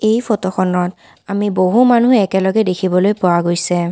এই ফটো খনত আমি বহু মানুহ একেলগে দেখিবলৈ পোৱা গৈছে।